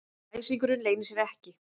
Æsingurinn leynir sér ekki.